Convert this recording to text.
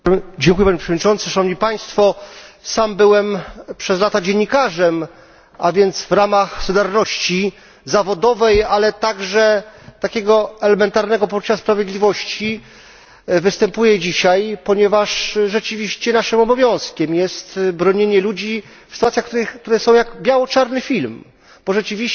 Panie Przewodniczący! Sam byłem przez lata dziennikarzem, a więc w ramach solidarności zawodowej, ale także takiego elementarnego poczucia sprawiedliwości występuję dzisiaj, ponieważ rzeczywiście naszym obowiązkiem jest bronienie ludzi w sytuacjach, które są jak biało czarny film, bo rzeczywiście